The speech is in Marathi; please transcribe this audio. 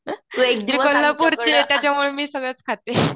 मी कोल्हापूरची आहे त्याच्यामुळं मी सगळंच खाते.